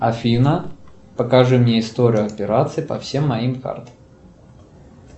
афина покажи мне историю операций по всем моим картам